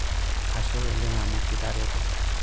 Ashe oleng' amu kitareto.